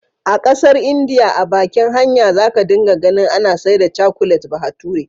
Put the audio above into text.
A ƙasar India a bakin hanya za ka dinga ganin ana saida cakulet bahature,.